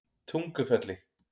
Tungufelli